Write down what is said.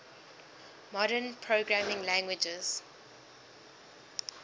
modern programming languages